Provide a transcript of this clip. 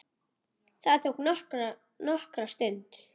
Það tók nokkra stund.